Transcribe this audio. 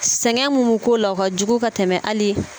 Sɛgɛn mun bɛ k'o la o ka jugu ka tɛmɛ hali